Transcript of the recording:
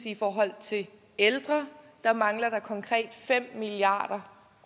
i forhold til ældre at der mangler der konkret fem milliard